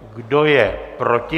Kdo je proti?